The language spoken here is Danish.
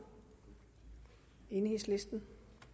enhedslisten